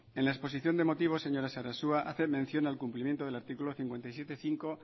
en la exposición de motivos señora sarasua hace mención al cumplimiento del artículo cincuenta y siete punto cinco